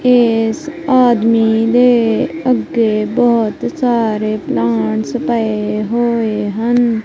ਇਸ ਆਦਮੀ ਦੇ ਅੱਗੇ ਬਹੁਤ ਸਾਰੇ ਪੈਂਟਸ ਪਏ ਹੋਏ ਹਨ।